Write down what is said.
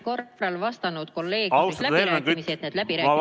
Lugupeetud minister!